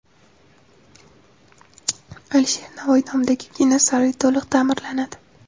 Alisher Navoiy nomidagi kino saroyi to‘liq ta’mirlanadi.